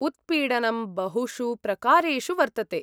उत्पीडनं बहुषु प्रकारेषु वर्तते।